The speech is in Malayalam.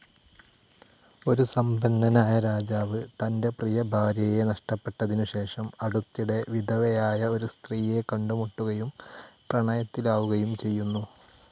ഒരു സമ്പന്നനായ രാജാവ് തൻ്റെ ഡിയർ ഭാര്യയെ നഷ്ടപ്പെട്ടതിനുശേഷം, അടുത്തിടെ വിധവയായ ഒരു സ്ത്രീയെ കണ്ടുമുട്ടുകയും പ്രണയത്തിലാവുകയും ചെയ്യുന്നു.